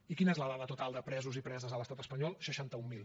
i quina és la dada total de presos i preses a l’estat espanyol seixanta un mil